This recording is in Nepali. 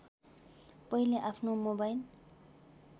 पहिले आफ्नो मोबाइल